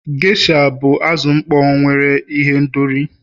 Gesha bụ azụ mkpọ nwere ihendori.